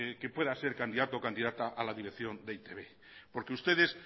que pueda ser candidato o candidata a la dirección de e i te be porque ustedes